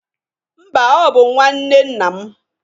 Mba, ọ bụ nwa nwanne nna m.